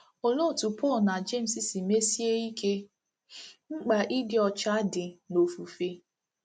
Olee otú Pọl na Jems si mesie ike mkpa ịdị ọcha dị n’ofufe?